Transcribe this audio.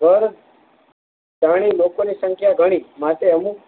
પર ઘણી લોકો ની સંખ્યા ઘણી માટે અમુક